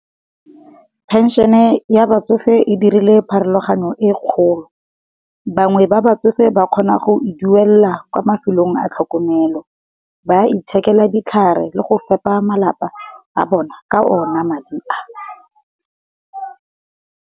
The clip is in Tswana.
Penšene ya batsofe e dirile pharologano e kgolo, bangwe ba ba tsofe ba kgona go e duelela kwa mafelong a tlhokomelo, ba ithekela ditlhare le go fepa malapa a bona ka ona madi a.